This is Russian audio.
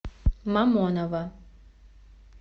мамоново